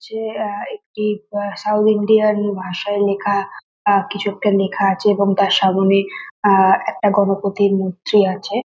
যে অ্যা একটি সাউথ ইন্ডিয়ান ভাষায় লেখা অ্যা কিছু একটা লেখা আছে এবং তার সামনে অ্যা একটা গণপতির মূর্তি আছে।